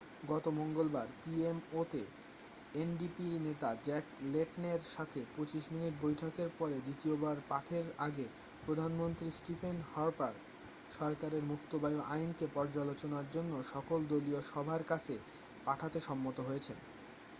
গত মঙ্গলবার পিএমও'তে এনডিপি নেতা জ্যাক লেটনের সাথে 25 মিনিট বৈঠকের পরে দ্বিতীয়বার পাঠের আগে প্রধানমন্ত্রী স্টিফেন হার্পার সরকারের মুক্ত বায়ু আইন'কে পর্যালোচনার জন্য সকল দলীয় সভার কাছে পাঠাতে সম্মত হয়েছেন